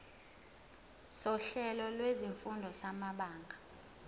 sohlelo lwezifundo samabanga